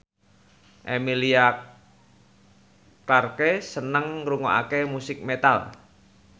Emilia Clarke seneng ngrungokne musik metal